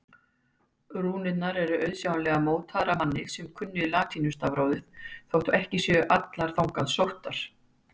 Rúnirnar eru auðsjáanlega mótaðar af manni sem kunni latínustafrófið þótt ekki séu allar þangað sóttar.